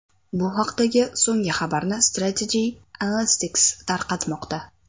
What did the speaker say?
Bu haqdagi so‘nggi xabarni Strategy Analytics tarqatmoqda.